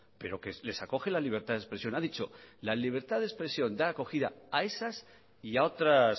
pero que les acoge la libertad de expresión ha dicho la libertad de expresión da acogida a esas y a otras